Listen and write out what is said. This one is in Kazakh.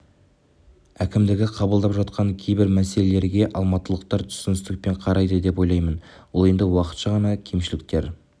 әкімдігі қабылдап жатқан кейбір мәселелерге алматылықтар түсіністікпен қарайды деп ойлаймын ол енді уақытша ғана кемшіліктер